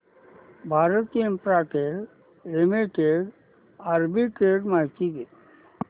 Bharti Infratel Limited arbitrage माहिती दे